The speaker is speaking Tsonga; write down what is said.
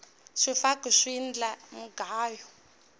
swifaki swi endla mugayo